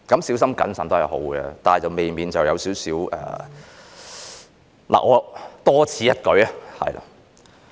小心謹慎是好的，但未免有點多此一舉......